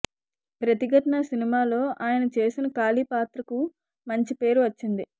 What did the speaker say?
ప్రతిఘటన సినిమాలో అయన చేసిన కాళీ పాత్రకు మంచి పేరు వచ్చింది